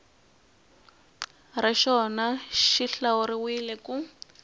xa rona xi hlawuriwile ku